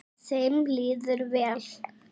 Þeim líður vel.